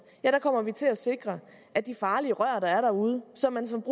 til at sikre at de farlige rør der er derude og som man som